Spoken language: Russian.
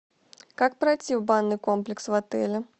как пройти в банный комплекс в отеле